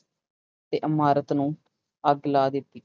ਤੇ ਇਮਾਰਤ ਨੂੰ ਅੱਗ ਲਾ ਦਿੱਤੀ।